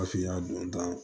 Afina don ta